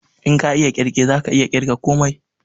In ka iya ƙirge zaka iya ƙirga komai